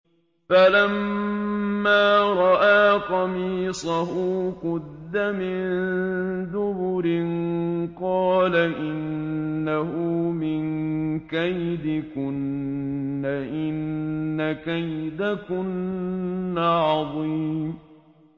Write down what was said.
فَلَمَّا رَأَىٰ قَمِيصَهُ قُدَّ مِن دُبُرٍ قَالَ إِنَّهُ مِن كَيْدِكُنَّ ۖ إِنَّ كَيْدَكُنَّ عَظِيمٌ